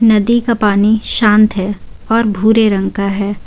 नदी का पानी शांत है और भूरे रंग का है।